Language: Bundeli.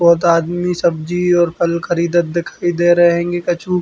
बोहोत आदमी सब्जी और फल खरीदत दिखाई दे रहें हेंगे कछु।